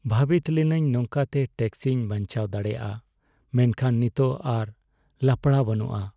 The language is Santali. ᱵᱷᱟᱹᱵᱤᱛ ᱞᱤᱱᱟᱹᱧ ᱱᱚᱝᱠᱟᱛᱮ ᱴᱮᱠᱥᱤᱧ ᱵᱟᱧᱪᱟᱣ ᱫᱟᱲᱮᱭᱟᱜᱼᱟ, ᱢᱮᱱᱠᱷᱟᱱ ᱱᱤᱛᱚᱜ ᱟᱨ ᱞᱟᱯᱲᱟ ᱵᱟᱹᱱᱩᱜᱼᱟ ᱾